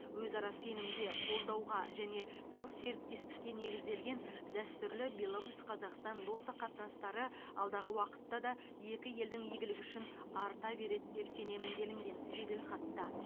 өзара сенімге қолдауға және тығыз серіктестікке негізделген дәстүрлі беларусь қазақстан достық қатынастары алдағы уақытта да екі елдің игілігі үшін арта береді деп сенемін делінген жеделхатта